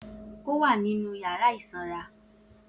O wa ninu yara ti o sanra.